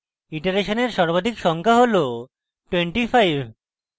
ইটারেসনের সর্বাধিক সংখ্যা হল 25